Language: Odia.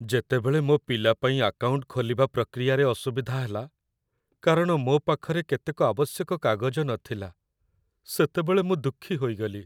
ଯେତେବେଳେ ମୋ ପିଲା ପାଇଁ ଆକାଉଣ୍ଟ ଖୋଲିବା ପ୍ରକ୍ରିୟାରେ ଅସୁବିଧା ହେଲା, କାରଣ ମୋ ପାଖରେ କେତେକ ଆବଶ୍ୟକ କାଗଜ ନଥିଲା, ସେତେବେଳେ ମୁଁ ଦୁଃଖୀ ହୋଇଗଲି।